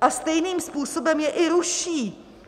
a stejným způsobem je i ruší.